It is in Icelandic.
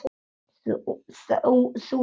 Þú ert frábær!